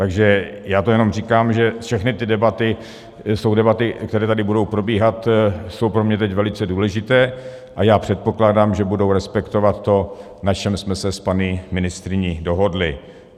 Takže já to jenom říkám, že všechny ty debaty jsou debaty, které tady budou probíhat, jsou pro mě teď velice důležité, a já předpokládám, že budou respektovat to, na čem jsme se s paní ministryní dohodli.